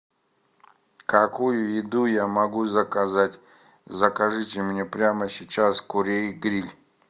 какую еду я могу заказать закажите мне прямо сейчас курей гриль